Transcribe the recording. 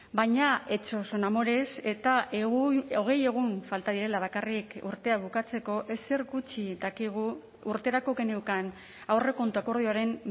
baina hechos son amores eta hogei egun falta direla bakarrik urtea bukatzeko ezer gutxi dakigu urterako geneukan aurrekontu akordioaren